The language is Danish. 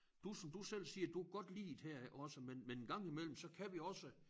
Du som du selv siger du kan godt lide det her også men en gang imellem så kan vi også